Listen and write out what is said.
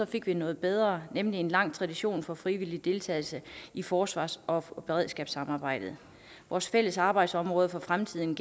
fik vi noget bedre nemlig en lang tradition for frivillig deltagelse i forsvars og beredskabssamarbejdet vores fælles arbejdsområde for fremtiden